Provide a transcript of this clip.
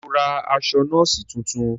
Ṣe o ra aṣọ nọọsi tuntun?